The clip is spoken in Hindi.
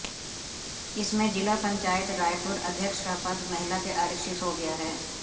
इसमें जिला पंचायत रायपुर अध्यक्ष का पद महिला के आरक्षित हो गया है